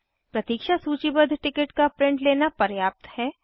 प्रतीक्षा सूचीबद्ध टिकट का प्रिंट लेना पर्याप्त है